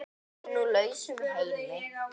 Í nú lausum heimi.